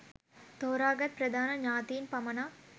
තෝරාගත් ප්‍රධාන ඥාතීන් පමණක්